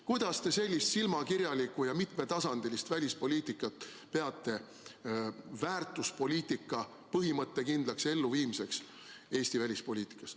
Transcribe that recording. Kuidas te sellist silmakirjalikku ja mitmetasandilist välispoliitikat peate väärtuspoliitika põhimõttekindlaks elluviimiseks?